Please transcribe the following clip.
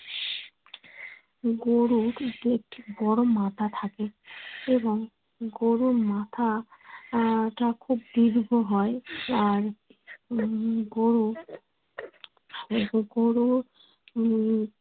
গরুর একটি বড়ো থাকে এবং গরুর মাথা আহ তা খুব দীর্ঘ হয় আর উম গরু গ গরুর মুখ